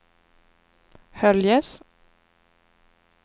Höljes